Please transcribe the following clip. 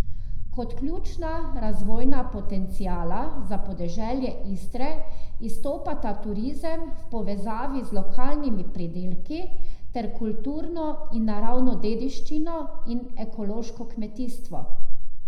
Kot ključna razvojna potenciala za podeželje Istre izstopata turizem v povezavi z lokalnimi pridelki ter kulturno in naravno dediščino in ekološko kmetijstvo.